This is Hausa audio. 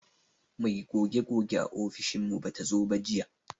Mai goge goge a ofishin mu bata zo ba jiya.